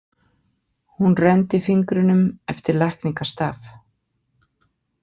Hún renndi fingrinum eftir lækningastaf.